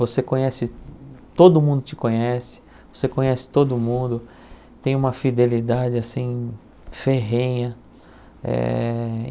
Você conhece, todo mundo te conhece, você conhece todo mundo, tem uma fidelidade assim, ferrenha. Eh